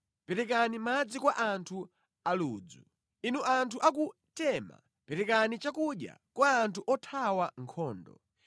perekani madzi kwa anthu aludzu. Inu anthu a ku Tema perekani chakudya kwa anthu othawa nkhondo.